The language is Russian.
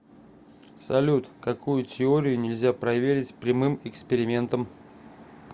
салют какую теорию нельзя проверить прямым экспериментом